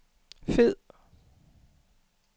fed